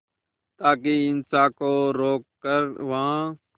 ताकि हिंसा को रोक कर वहां